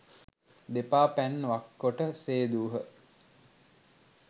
දෙපා පැන් වක්කොට සේදූහ.